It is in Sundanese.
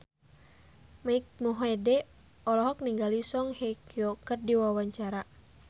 Mike Mohede olohok ningali Song Hye Kyo keur diwawancara